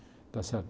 Está certo?